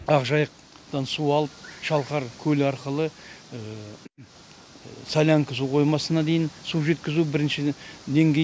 ақжайықтан су алып шалқар көлі арқылы солянка су қоймасына дейін су жеткізу бірінші деңгей